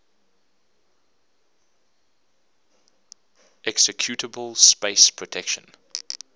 executable space protection